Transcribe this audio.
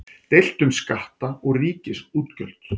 Deilt um skatta og ríkisútgjöld